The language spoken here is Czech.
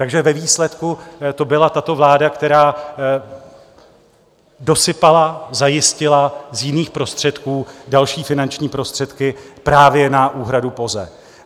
Takže ve výsledku to byla tato vláda, která dosypala, zajistila z jiných prostředků další finanční prostředky právě na úhradu POZE.